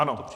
Ano.